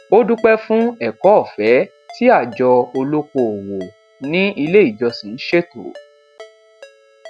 ó dúpẹ fún ẹkọ ofẹ tí àjọ olóko òwò ní ilé ìjọsìn ṣètò